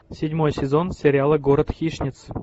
седьмой сезон сериала город хищниц